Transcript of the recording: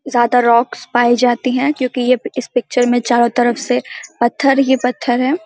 ज्यादा रॉक्स पाए जाती है क्यूंकि ये इस पिक्चर में चारो तरफ से पत्थर ही पत्थर है।